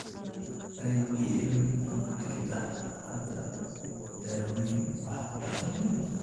IBM ma jirto hadda daawayn waxtar leh.